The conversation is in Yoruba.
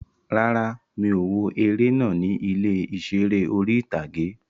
Rárá, mi ò wo eré náà ní ilé ìseré orí-ìtágé